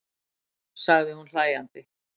sagði hún hlæjandi.